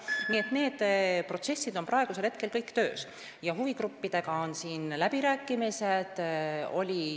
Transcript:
Nii et need protsessid on praegusel hetkel kõik töös ja huvigruppidega toimuvad läbirääkimised.